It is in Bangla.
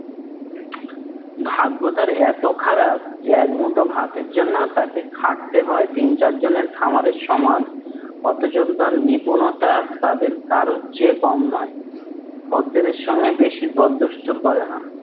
ভাগ্য তার এত খারাপ, যে একমুঠো ভাতের জন্যও তাকে খাটতে হয় তিন চার জনের খামারের সমান। অথচ তার নিপুণতা তাদের কারো চেয়ে কম নয়। খোদ্দেরের সঙ্গে বেশি দর দুস্তুর করে না